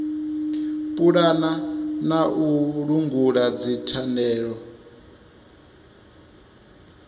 pulana na u langula dzithandela